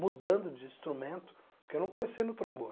mudando de instrumento, porque eu não comecei no trombone.